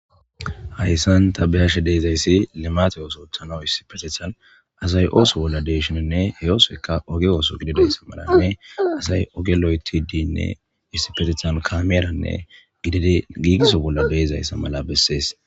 hayssan tabiyashe deezayssi limate ooso othana issipetithan asay ooso bolla deeshoninne he osoeka oge ooso gidideyssa maranne asay oge loyti diynne issifetethan kameeranne idid giigiso bolla beezayssa mala bessees